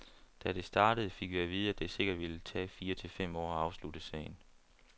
Da det startede, fik vi at vide, at det sikkert ville tage fire til fem år at afslutte sagen.